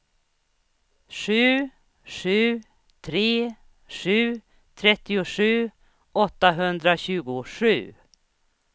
sju sju tre sju trettiosju åttahundratjugosju